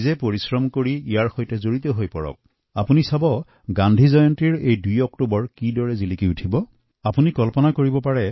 নিজে পৰিশ্ৰম কৰক অংশগ্ৰহণ কৰক তেতিয়া হলে দেখিব গান্ধী জয়ন্তীৰ দিনটো কেনেকৈ সাফল্য মণ্ডিত হব